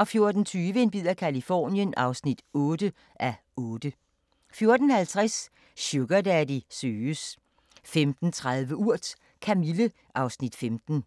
14:20: En bid af Californien (8:8) 14:50: Sugardaddy søges 15:30: Urt: Kamille (Afs. 15)